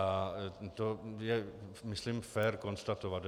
A to je myslím fér konstatovat.